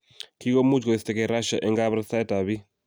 Kigomuch koistogee Russia eng kabarastaet ap bik